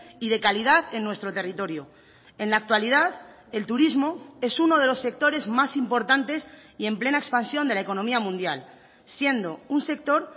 y de calidad en nuestro territorio en la actualidad el turismo es uno de los sectores más importantes y en plena expansión de la economía mundial siendo un sector